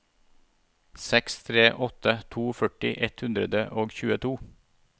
seks tre åtte to førti ett hundre og tjueto